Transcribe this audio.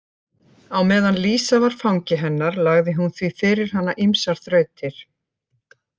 Á meðan Lísa var fangi hennar lagði hún því fyrir hana ýmsar þrautir.